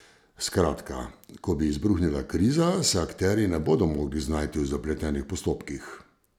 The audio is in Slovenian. Skratka, ko bi izbruhnila kriza, se akterji ne bodo mogli znajti v zapletenih postopkih.